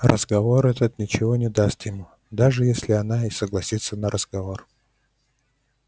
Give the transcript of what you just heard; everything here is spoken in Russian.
разговор этот ничего не даст ему даже если она и согласится на разговор